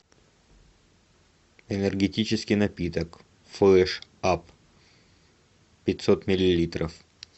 энергетический напиток флэш ап пятьсот миллилитров